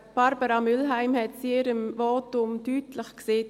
Barbara Mühlheim hat es in ihrem Votum deutlich gesagt: